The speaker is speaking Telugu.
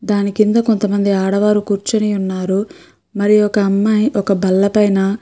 దాని కింద కొంతమంది ఆడవారు కూర్చొని ఉన్నారు. మరి ఒక అమ్మాయి ఒక బెల్లపైన --